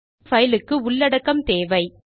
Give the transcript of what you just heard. இப்போது பைல் க்கு உள்ளடக்கம் தேவை